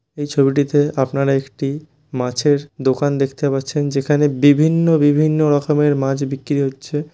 এই ছবিটিতে আপনারা একটি মাছের দোকান দেখতে পারছেন যেখানে বিভিন্ন বিভিন্ন রকমের মাছ বিক্রি হচ্ছে।